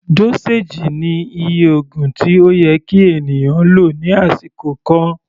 Dóséèjì ni iye oògùn tí ó yẹ kí ènìyàn lò ní àsìkò kan.